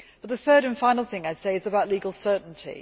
The third and final thing I would say is about legal certainty.